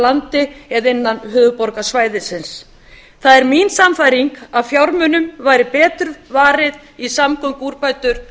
landi eða innan höfuðborgarsvæðisins það er mín sannfæring að fjármunum væri betur varið í samgönguúrbætur